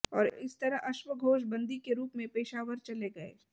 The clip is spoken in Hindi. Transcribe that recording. और इस तरह अश्वघोष बंदी के रूप में पेशावर चले गये